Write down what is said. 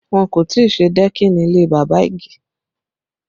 Wọn kò tí ì ṣe dẹ́kìnì ilé bàbá Ige